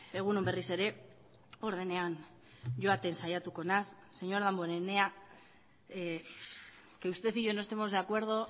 egun on berriz ere ordenean joaten saiatuko naiz señor damborenea que usted y yo no estemos de acuerdo